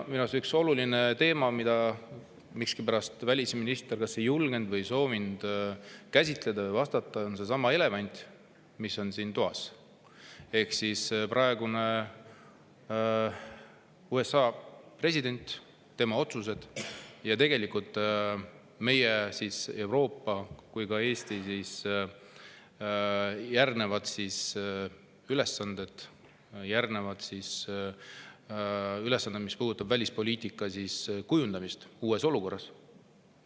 Minu arust üks oluline teema, mida välisminister miskipärast kas ei julgenud või ei soovinud käsitleda, on seesama elevant, mis on siin toas, ehk praegune USA president, tema otsused ja meie, nii Euroopa kui ka Eesti järgnevad ülesanded, mis puudutavad välispoliitika kujundamist uues olukorras.